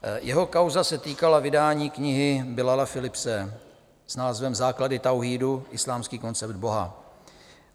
Jeho kauza se týkala vydání knihy Bilala Philipse s názvem Základy tauhídu - islámský koncept Boha.